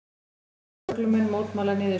Vestfirskir lögreglumenn mótmæla niðurskurði